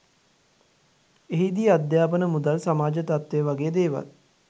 එහිදී අධ්‍යාපන මුදල් සමාජ තත්වය වගේ දේවල්